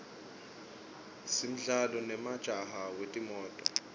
simdlalo nemjaho wetimoto